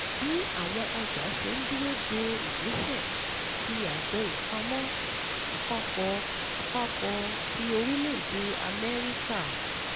Bí àwọn ọjà ṣe ń dúró de ìgbésẹ̀ tí Àjọ Ìpamọ́ Àpapọ̀ Àpapọ̀ ti Orílẹ̀-Èdè Amẹ́ríkà